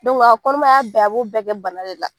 a ka kɔnɔmaya bɛɛ, a b'o bɛɛ kɛ bana la.